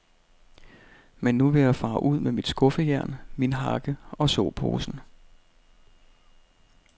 Men nu vil jeg fare ud med mit skuffejern, min hakke og såposen.